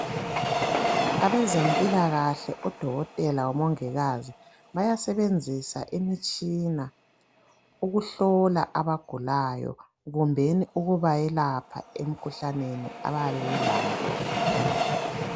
Abezempilakahle odokotela lomongikazi bayasebenzisa imitshina ukuhlola abagulayo kumbeni ukubayelapha emikhuhlaneni abayabe belayo.